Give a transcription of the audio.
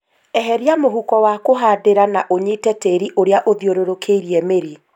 Eheria mũhũko wa kũhandĩra na unyite tĩri ũrĩa ũthiũrũrũkĩirie mĩri